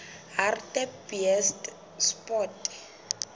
hartbeespoort